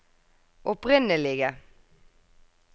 opprinnelige